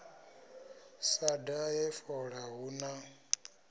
sa dahe fola hu na